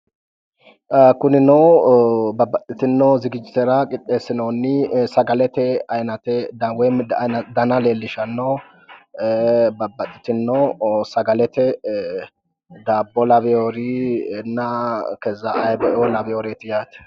Kunino babbaxxitino zigijjitera qixxeessinoonni sagalete ayinate woyi dana leellishanno babbaxxitino sagalete daabbo laweyoorinna kezza ayiibeoo laweyooreeti yaate.